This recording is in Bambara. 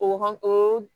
O ho o